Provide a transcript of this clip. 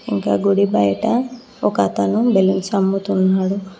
ఇంకా గుడి బయట ఒకతను బెలూన్స్ అమ్ముతున్నాడు.